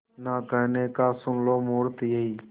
ना कहने का सुन लो मुहूर्त यही